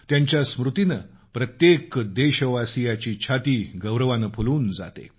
त्यांच्या स्मृतीनं प्रत्येक देशवासियाची छाती गौरवानं फुलून जाते